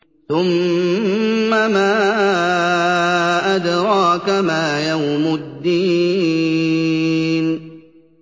ثُمَّ مَا أَدْرَاكَ مَا يَوْمُ الدِّينِ